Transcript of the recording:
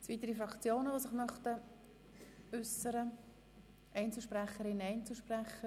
Es haben sich keine weiteren Fraktionssprecher oder Einzelsprecher gemeldet.